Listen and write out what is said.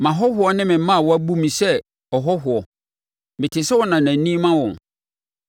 Mʼahɔhoɔ ne me mmaawa bu me sɛ ɔhɔhoɔ; mete sɛ ɔnanani ma wɔn.